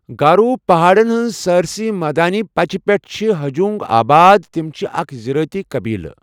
گارو پہاڑن ہنٛز سٲرسی مٲدانی پچہِ پٮ۪ٹھ چھِ ہجونگ آباد، تِم چھِ اکھ زِرٲعتی قٔبیٖلہٕ۔